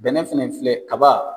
Bɛnɛ fɛnɛ filɛ kaba